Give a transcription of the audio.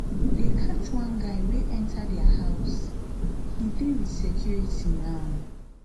dey catch one guy wey enter their house he dey with security now